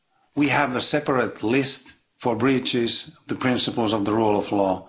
We have a separate list for breaches of the principles of the rule of law.